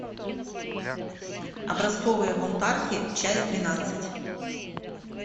образцовые бунтарки часть двенадцать